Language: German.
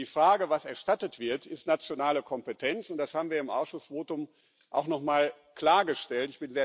Und die Frage, was erstattet wird, ist nationale Kompetenz. Das haben wir im Ausschussvotum auch nochmal klargestellt.